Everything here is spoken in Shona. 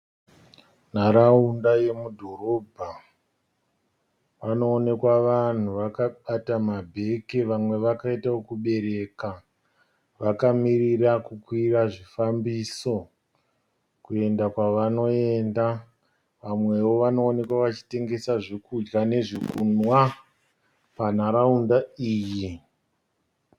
Nharaunda yemudhorobha. Panoonekwa vanhu vakabata mabheke vamwe vakaita okubereka vakamirira kukwira zvifambiso kuenda kwavanoenda. Vamwewo vanoonekwa vachitengesa zvokudya nezvokunwa panharaunda iyi.